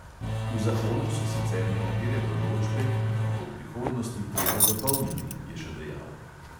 V zakonu so sicer nekatere določbe, ki jih bo v prihodnosti treba dopolniti, je še dejal.